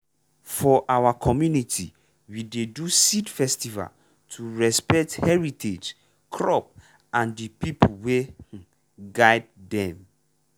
for our community we dey do seed festival to respect heritage crop and the people wey um guide dem.